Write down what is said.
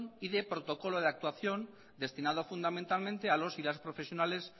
y de protocolo de actuación destinado fundamentalmente a los y las profesionales